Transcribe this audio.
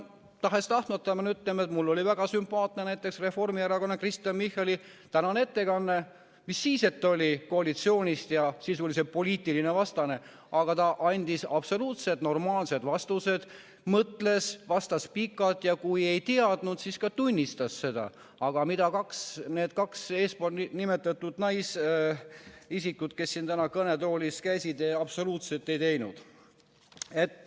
Tahes-tahtmata pean ütlema, et mulle oli väga sümpaatne näiteks reformierakondlase Kristen Michali tänane ettekanne, mis siis, et ta on koalitsioonist ja sisuliselt poliitiline vastane, aga ta andis absoluutselt normaalsed vastused, mõtles, vastas pikalt ja kui ei teadnud, siis ka tunnistas seda, mida need kaks eespool nimetatud naisisikut, kes täna kõnetoolis käisid, absoluutselt ei teinud.